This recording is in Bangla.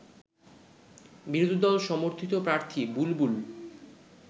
বিরোধী দল সমর্থিত প্রার্থী বুলবুল